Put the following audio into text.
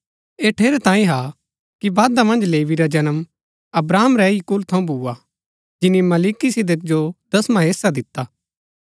ऐह ठेरैतांये हा कि वादा मन्ज लेवी रा जन्म अब्राहम रै ही कुल थऊँ भूआ जिनी मलिकिसिदक जो दसवां हेस्सा दिता